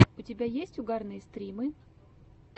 у тебя есть угарные стримы